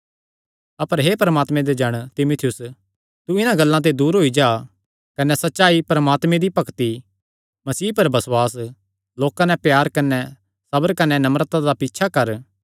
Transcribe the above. अपर हे परमात्मे दे जण तीमुथियुस तू इन्हां गल्लां ते दूर होई जा कने सच्चाई परमात्मे दी भक्ति मसीह पर बसुआस लोकां नैं प्यार कने सबर कने नम्रता दा पीछा कर